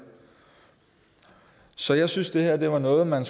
så jeg synes det her var noget man